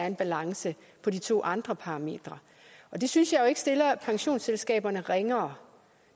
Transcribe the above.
en balance på de to andre parametre og det synes jeg jo ikke stiller pensionsselskaberne ringere